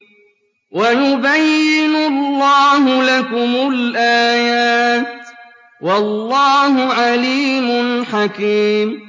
وَيُبَيِّنُ اللَّهُ لَكُمُ الْآيَاتِ ۚ وَاللَّهُ عَلِيمٌ حَكِيمٌ